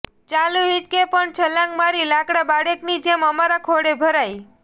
ચાલુ હીંચકે પણ છલાંગ મારી લાડકા બાળકની જેમ અમારા ખોળે ભરાય